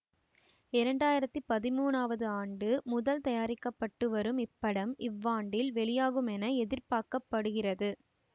இரண்டு ஆயிரத்தி பதிமூணவது ஆண்டு முதல் தயாரிக்க பட்டு வரும் இப்படம் இவ்வாண்டில் வெளியாகுமென எதிர்பார்க்க படுகிறது